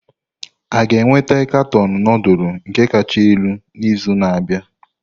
A ga-enweta katọn nudulu nke kacha elu n'izu na-abịa?